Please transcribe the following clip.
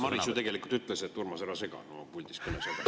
Maris ju tegelikult ütles mulle, et ära sega, kui ma puldis kõnelen.